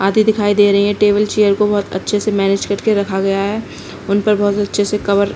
आदि दिखाई दे रही हैं टेबल चैयर को बहौत अच्छे से मैंनेज करके रखा गया है उनपे बहौत अच्छे से कवर --